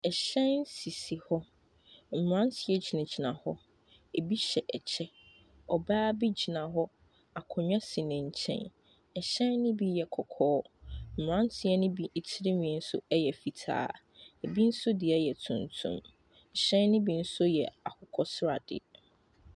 Ɛhyɛn sisi hɔ mmaranteɛ gyina gyina hɔ ebi hyɛ kyɛw ɔbaa bi gyina hɔ akonnwa si no nkyɛn ɛhyɛn nobi yɛ kɔkɔɔ mmaranteɛ no bi tire nwi yɛ fitaa ebi nso deɛ yɛ tuntum ɛhyɛn no bi nso yɛ akokɔ seradeɛ.